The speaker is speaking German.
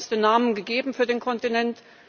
Sie hat uns den Namen gegeben für den Kontinent.